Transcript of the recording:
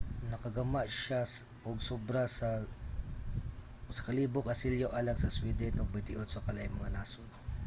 nakagama siya og sobra sa 1,000 ka selyo alang sa sweden ug sa 28 ka laing mga nasod